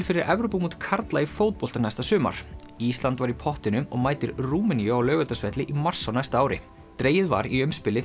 fyrir Evrópumót karla í fótbolta næsta sumar ísland var í pottinum og mætir Rúmeníu á Laugardalsvelli í mars á næsta ári dregið var í